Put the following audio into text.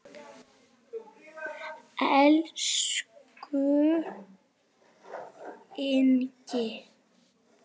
Elsku Ingi.